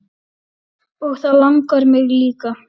Og það langar mig líka.